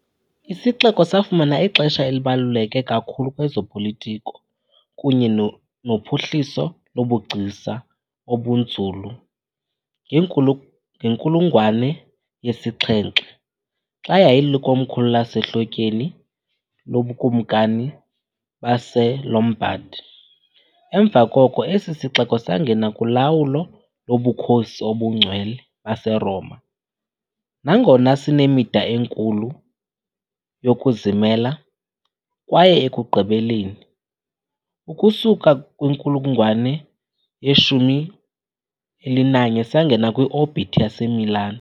Isixeko safumana ixesha elibaluleke kakhulu kwezopolitiko kunye nophuhliso lobugcisa obunzulu ngenkulungwane yesi - 7, xa yayilikomkhulu lasehlotyeni loBukumkani baseLombard, emva koko esi sixeko sangena kulawulo loBukhosi obuNgcwele baseRoma, nangona sinemida enkulu yokuzimela, kwaye ekugqibeleni, ukusuka kwinkulungwane ye-11, sangena kwi-orbit yaseMilan.